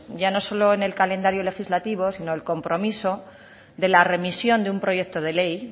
ya no solo en el calendario legislativo sino el compromiso de la remisión de un proyecto de ley